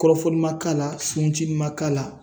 Kɔrɔfoli ma k'a la suruncili ma k'a la